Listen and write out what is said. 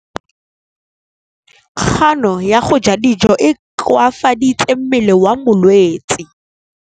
Kganô ya go ja dijo e koafaditse mmele wa molwetse.